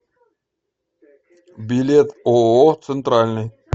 билет ооо центральный